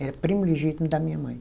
Era primo legítimo da minha mãe.